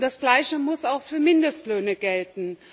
Das Gleiche muss auch für Mindestlöhne gelten.